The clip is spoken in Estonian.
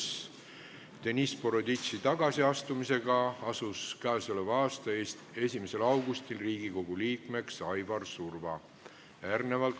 Seoses Deniss Boroditši tagasiastumisega asus k.a 1. augustil Riigikogu liikmeks Aivar Surva.